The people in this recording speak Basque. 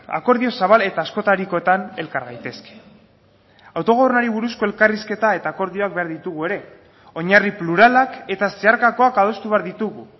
akordio zabal eta askotarikoetan elkar gaitezke autogobernuari buruzko elkarrizketa eta akordioak behar ditugu ere oinarri pluralak eta zeharkakoak adostu behar ditugu